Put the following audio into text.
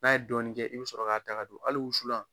N'a ye dɔɔnin kɛ i be sɔrɔ k'a ta ka don hali wusulan.